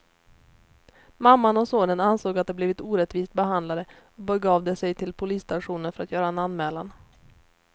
Mamman och sonen ansåg att de blivit orättvist behandlade och begav de sig till polisstationen för att göra en anmälan.